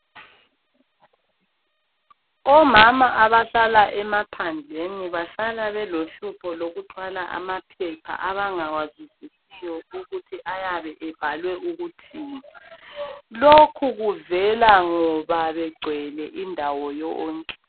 Omama abahlala emaphandleni bahlala belohlupho lokuthwala amaphepha abangawazwisisiyo ukuthi ayabe ebhalwe ukuthini. Lokhu kuvela ngoba begcwele indawo yonke.